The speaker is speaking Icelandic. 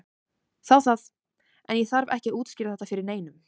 Þá það, en ég þarf ekki að útskýra þetta fyrir neinum.